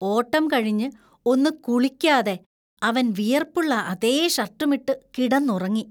ഓട്ടം കഴിഞ്ഞ് ഒന്ന് കുളിക്കാതെ അവന്‍ വിയർപ്പുള്ള അതേ ഷർട്ടുമിട്ടു കിടന്നുറങ്ങി.